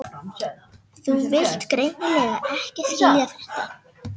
Þú vilt greinilega ekki skilja þetta.